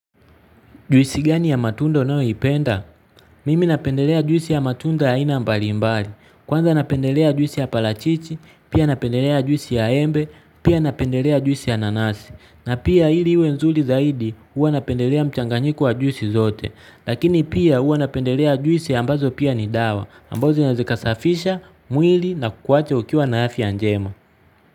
Juisi gani ya matunda unayoipenda? Mimi napendelea juisi ya matunda ya aina mbalimbali. Kwanza napendelea juisi ya parachichi, pia napendelea juisi ya embe, pia napendelea juisi ya nanasi. Na pia ili iwe nzuri zaidi huwa napendelea mchanganyiko wa juisi zote. Lakini pia huwa napendelea juisi ambazo pia ni dawa, ambazo zinawezakasafisha, mwili na kuwache ukiwa na afya njema.